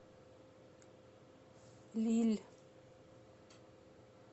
лилль